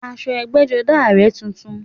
Aṣọ ẹgbẹ́jọdá rẹ̀ tutù